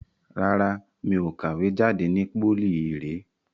Rárá, mi ò kàwé jade ni pólì ìré.